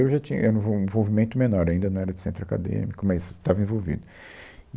Eu já tinha, era, um um envolvimento menor, ainda não era de centro acadêmico, mas estava envolvido.